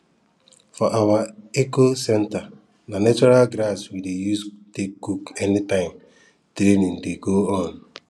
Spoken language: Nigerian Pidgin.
for our ecocentre na natural gas we dey use take cook anytime training dey go on